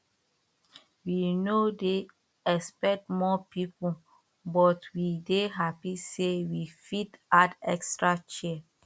we no dey expect more people but we dey happy say we fit add extra chair